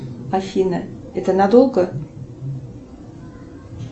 афина это надолго